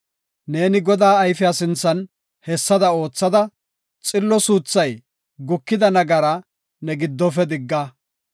Neeni Godaa ayfiya sinthan hessada oothada, xillo suuthay gukida nagara ne giddofe digga.